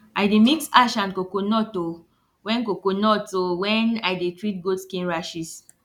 i dey mix ash and coconut o wen coconut o wen i dey treat goat skin rashes